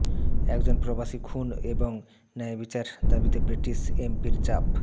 একজন প্রবাসী খুন এবং ন্যায়বিচার দাবিতে ব্রিটিশ এমপির চাপ